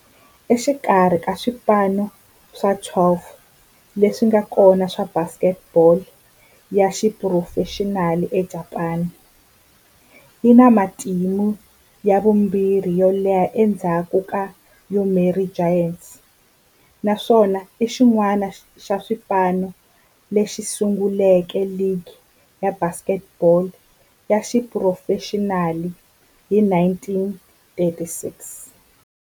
Exikarhi ka swipano swa 12 leswi nga kona swa baseball ya xiphurofexinali eJapani, yi na matimu ya vumbirhi yo leha endzhaku ka Yomiuri Giants, naswona i xin'wana xa swipano leswi sunguleke ligi ya baseball ya xiphurofexinali hi 1936.